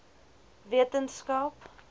wetenskap